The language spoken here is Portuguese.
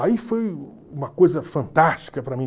Aí foi uma coisa fantástica para mim.